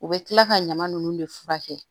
U bɛ kila ka ɲama nunnu de furakɛ